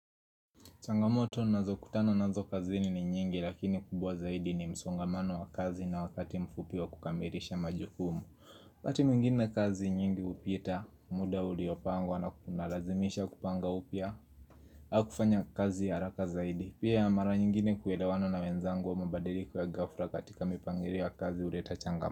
Changamoto ninazo kutano nazo kazini ni nyingi lakini kubwa zaidi ni msongamano wa kazi na wakati mfupi wa kukamilisha majukumu wakati mwingine kazi nyingi hupita, muda uliopangwa na kunalazimisha kupanga upya au kufanya kazi ya haraka zaidi Pia ya mara nyingine kuelewana na wenzangu ama mabadiliko ya gafla katika mipangilio ya kazi huleta changamato.